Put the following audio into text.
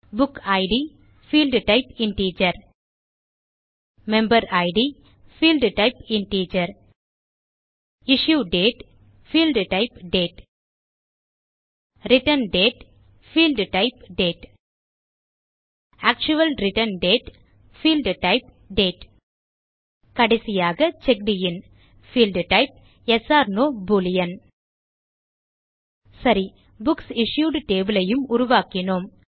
book id field type integer member id Field type integer issue date field type date return date field type date actual return date field type date கடைசியாக checked in field type yes no boolean சரி books issued table ஐயும் உருவாக்கினோம்